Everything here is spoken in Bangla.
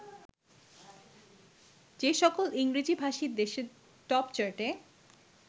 যেসকল ইংরেজিভাষী দেশের টপচার্টে